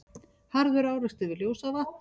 Harður árekstur við Ljósavatn